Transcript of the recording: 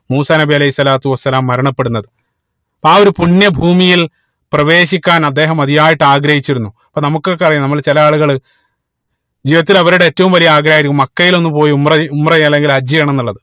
മൂസാ നബി അലൈഹി സ്വലാത്തു വസ്സലാം മരണപ്പെടുന്നത് ആ ഒരു പുണ്യ ഭൂമിയിൽ പ്രവേശിക്കാൻ അദ്ദേഹം അതിയായിട്ട് ആഗ്രഹിച്ചിരുന്നു അപ്പൊ നമുക്ക് ഒക്കെ അറിയാ നമ്മൾ ചില ആളുകൾ ജീവിതത്തിൽ അവരുടെ ഏറ്റവും വലിയ ആഗ്രഹം ആയിരിക്കും മക്കയിൽ ഒന്ന് പോയി ഉംറ ചെയ്യ ഉംറ ചെയ്യ അല്ലെങ്കിൽ ഹജ്ജ് ചെയ്യണം ന്നുള്ളത്